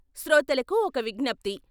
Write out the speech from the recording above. శ్రోతలకు ఒక విజ్ఞప్తి.